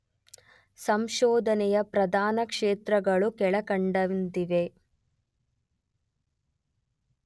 ಸಂಶೋಧನೆಯ ಪ್ರಧಾನ ಕ್ಷೇತ್ರಗಳು ಕೆಳಕಂಡಂತಿವೆ